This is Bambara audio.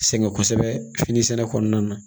Sɛgɛn kosɛbɛ finisɛnɛ kɔnɔna na